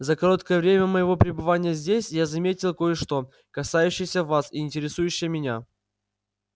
за короткое время моего пребывания здесь я заметил кое-что касающееся вас и интересующее меня